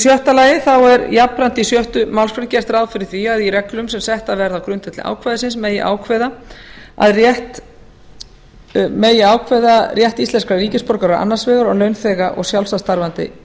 sjötta jafnframt er í sjöttu málsgrein gert ráð fyrir því að í reglum sem settar verða á grundvelli ákvæðisins megi ákveða að rétt íslenskra ríkisborgara annars vegar og launþega og sjálfstætt starfandi